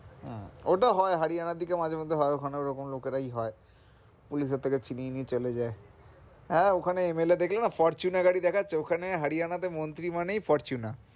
হম ওটা হয় হরিয়ানা দিকে মাঝে-মধ্যে হয় ওখানে রকম লোকেরাই হয় police এর থেকে ছিনিয়ে নিয়ে চলে যাই হ্যাঁ ওখানে MLA ফরচুনার গাড়ি দেখাচ্ছে ওখানে হরিয়ানা তে মন্ত্রী মানেই ফরচুনা।